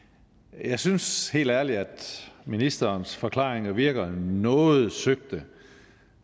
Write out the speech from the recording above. jeg synes helt ærligt at ministerens forklaringer virker noget søgte